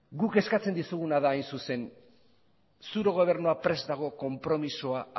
guk eskatzen dizuguna da hain zuzen zure gobernua prest dago konpromisoa